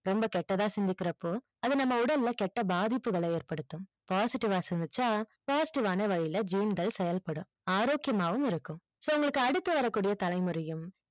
ரொம்ப கெட்டதா சிந்திக்கிறப்போ அத நம்ம உடலா கெட்ட பாதிப்புகளை ஏற்படுத்தும் positive அ சிந்திச்சா positive அ வழில gene கள் செயல்படும் ஆரோக்கியமாவும் இருக்கும் so உங்க அடுத்த வர கூடிய தலைமுறையும்